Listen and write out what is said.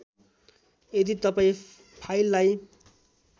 यदि तपाईँ फाइललाई